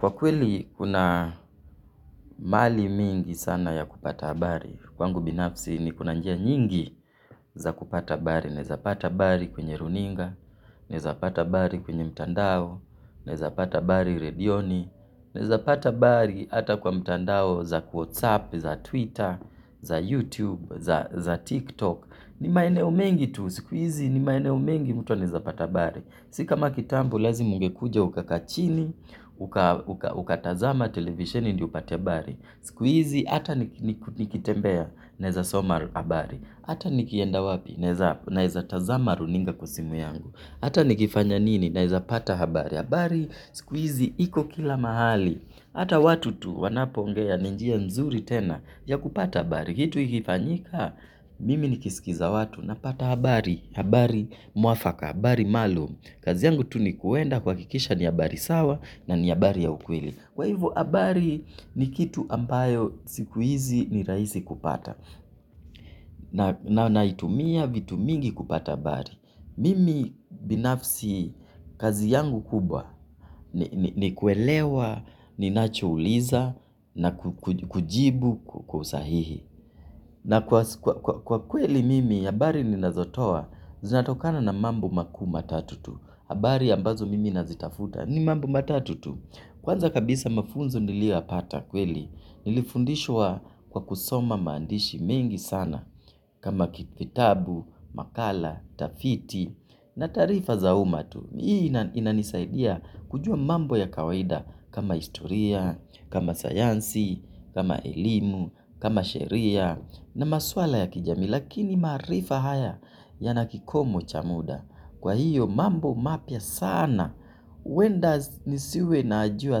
Kwa kweli kuna mahali mingi sana ya kupata bari. Kwangu binafsi niko na njia nyingi za kupata habari. Naeza pata habari kwenye runinga, naeza pata habari kwenye mtandao, naeza pata habari redioni, naeza pata habari hata kwa mtandao za whatsapp, za twitter, za youtube, za tiktok. Ni maeneo mengi tu sikuizi ni maeneo mengi mtu anaeza pata habari. Si kama kitambo lazima ungekuja ukakaa chini, ukatazama, televisheni ndio upate habari. Sikuizi hata nikitembea naeza soma habari. Hata nikienda wapi naeza tazama runinga kwa simu yangu. Hata nikifanya nini naeza pata habari habari. Sikuizi hiko kila mahali. Hata watu tu wanapoongea ni njia nzuri tena ya kupata habari kitu ikifanyika, mimi nikisikiza watu napata habari, habari mwafaka, habari maalum. Kazi yangu tu ni kuenda kuhakikisha ni habari sawa na ni habari ya ukweli. Kwa hivo, habari ni kitu ambayo siku hizi ni rahisi kupata. Na naitumia vitu mingi kupata habari. Mimi binafsi kazi yangu kubwa ni kuelewa, ninacho uliza na kujibu kwa usahihi. Na kwa kweli mimi, habari ninazotoa, zinatokana na mambo makuu matatu tu. Habari ambazo mimi nazitafuta, ni mambo matatu tu. Kwanza kabisa mafunzo niliyoyapata kweli, nilifundishwa kwa kusoma maandishi mingi sana. Kama kitabu, makala, tafiti, na taarifa za uma tu. Hii inanisaidia kujua mambo ya kawaida kama historia, kama sayansi, kama elimu, kama sheria na maswala ya kijamii. Lakini maarifa haya yana kikomo cha muda. Kwa hiyo mambo mapia sana. Huenda nisiwe najua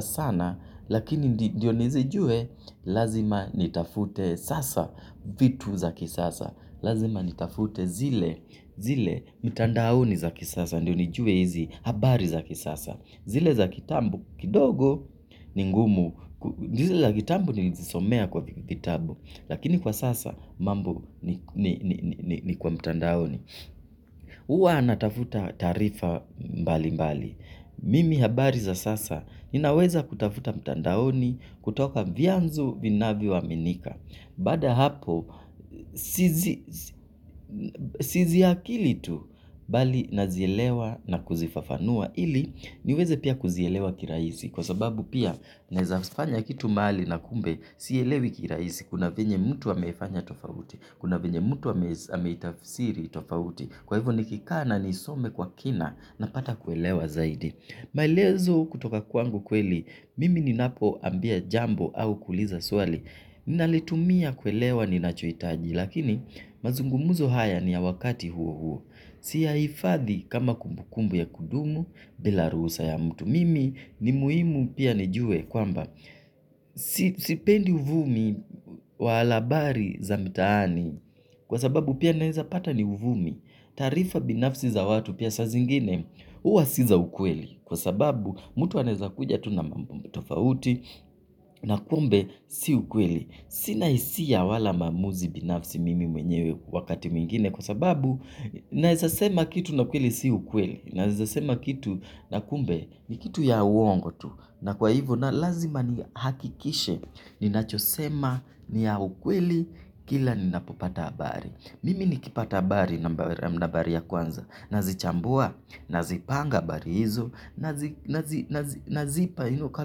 sana lakini ndio nizijue lazima nitafute sasa vitu za kisasa. Lazima nitafute zile mtandaoni za kisasa. Ndio nijue hizi habari za kisasa. Zile za kitambo kidogo ni ngumu. Zile za kitambo nilizisomea kwa vitabu. Lakini kwa sasa mambo ni kwa mtandaoni huwa natafuta taarifa mbali mbali. Mimi habari za sasa. Ninaweza kutafuta mtandaoni kutoka vianzo vinavyoaminika. Baada ya hapo, siziakili tu, bali nazielewa na kuzifafanua. Ili, niweze pia kuzielewa kirahisi. Kwa sababu pia, naezafanya kitu mahali na kumbe, sielewi kirahisi. Kuna vyenye mtu ameifanya tofauti. Kuna vyenye mtu ameitafsiri tofauti. Kwa hivyo nikikaa na, niisome kwa kina, napata kuelewa zaidi. Maelezo kutoka kwangu kweli, mimi ninapoambia jambo au kuuliza swali. Ninalitumia kuelewa ninachohitaji. Lakini mazungumuzo haya ni ya wakati huo huo. Siyahifadhi kama kumbukumbu ya kudumu bila ruhusa ya mtu mimi ni muhimu pia nijue kwamba sipendi uvumi wala habari za mtaani. Kwa sababu pia naeza pata ni uvumi. Taarifa binafsi za watu pia saa zingine huwa si za ukweli. Kwa sababu mtu anaeza kuja tu na mambo tofauti. Na kumbe si ukweli. Sina hisia wala maamuzi binafsi mimi mwenyewe wakati mwingine kwa sababu naezasema kitu na kweli si ukweli. Naezasema kitu na kumbe ni kitu ya uongo tu. Na kwa hivo na lazima nihakikishe ninachosema ni ya ukweli kila ninapopata habari. Mimi nikipata habari nambari ya kwanza. Nazichambua, nazipanga habari hizo, nazipa you know kwa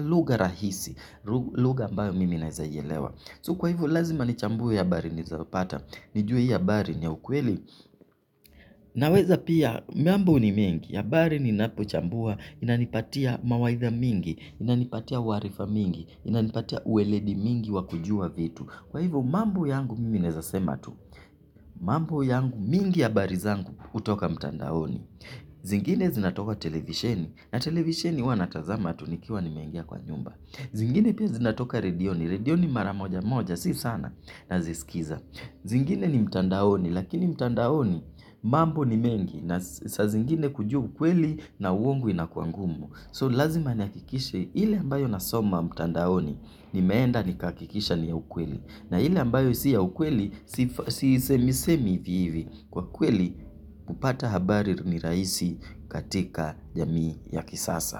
lugha rahisi. Lugha ambayo mimi naezaielewa. So kwa hivo lazima nichambue habari nilizopata, nijue hii habari ni ya ukweli, naweza pia mambo ni mingi, habari ninapochambua, inanipatia mawaidha mingi, inanipatia uarifa mingi, inanipatia uweledi mingi wa kujua vitu. Kwa hivo mambo yangu mimi naeza sema tu, mambo yangu mingi habari zangu hutoka mtandaoni. Zingine zinatoka televisheni, na televisheni huwa natazama tu nikiwa nimengia kwa nyumba. Zingine pia zinatoka redioni, redioni mara moja moja si sana naziskiza. Zingine ni mtandaoni lakini mtandaoni mambo ni mengi na saa zingine kujua ukweli na uongo inakuwa ngumu. So lazima nihakikishe ile ambayo nasoma mtandaoni nimeenda nikahakikisha ni ya ukweli. Na ile ambayo si ya ukweli sisemi semi hivi hivi kwa kweli kupata habari ni rahisi katika jamii ya kisasa.